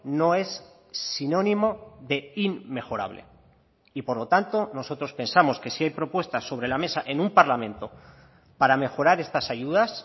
no es sinónimo de inmejorable y por lo tanto nosotros pensamos que si hay propuestas sobre la mesa en un parlamento para mejorar estas ayudas